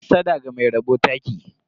Hassada ga mai rabo taki.